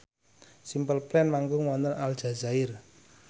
Simple Plan manggung wonten Aljazair